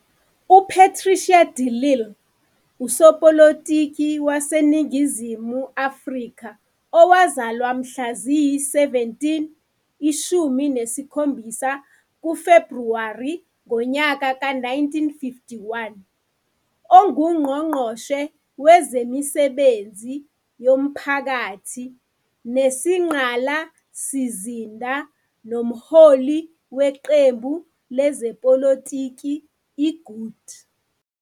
UPatricia de Lille usopolitiki waseNingizimu Afrika owazalwa mla ziyi-17 kuFebruwari 1951 onguNgqongqoshe Wezemisebenzi Yomphakathi Nezingqalasizinda nomholi weqembu lezepolitiki i-Good.